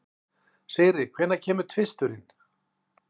Sigri, hvenær kemur tvisturinn?